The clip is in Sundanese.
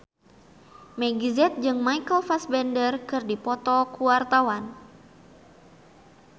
Meggie Z jeung Michael Fassbender keur dipoto ku wartawan